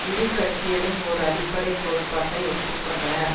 இரு கட்சிகளும் ஒர் அடிப்படை கோட்பாட்டை ஒப்பு கொண்டனர்